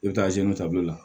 I bɛ taa ta olu la